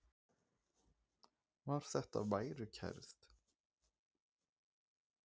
Var þetta værukærð?